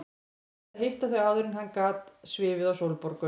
Þurfti að hitta þau áður en hann gat svifið á Sólborgu.